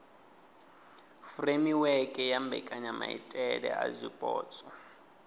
furemiweke ya mbekanyamaitele a zwipotso